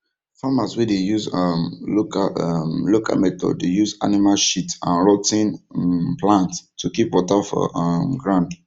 farmers wey dey use um local um local methods dey use animal shit and rot ten um plant to keep water for um ground